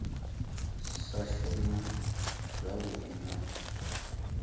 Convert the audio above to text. sa shuma zwavhui na u